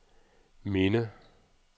minde